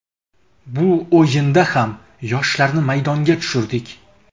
Bu o‘yinda ham yoshlarni maydonga tushirdik.